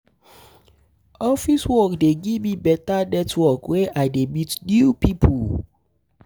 Office work dey um give me um beta network where I dey meet new pipo.